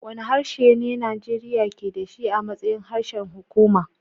Wane harshe ne Najeriya ke da shi a matsayin harshen hukuma?